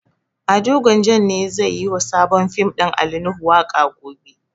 Ado Gwanjan ne zai yi wa sabon fim ɗin Ali Nuhu waƙa gobe.